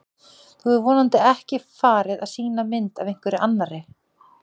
Þú hefur vonandi ekki farið að sýna mynd af einhverri annarri!